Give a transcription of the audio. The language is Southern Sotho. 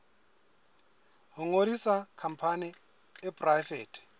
ho ngodisa khampani e poraefete